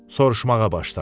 Soruşmağa başladı.